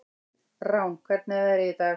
Rán, hvernig er veðrið í dag?